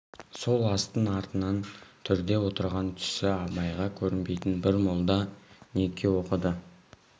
сол астың артынан төрде отырған түсі абайға көрінбейтін бір молда неке оқыды